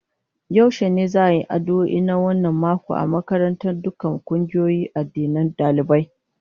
Yaushe ne za'a yi addu'o'i na wannan mako a makaranta na dukkan kungiyoyin addinan dalibai?